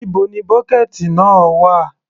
Níbo ni bọ́kẹ̀ẹ̀tì náà wà.